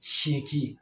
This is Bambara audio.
Seki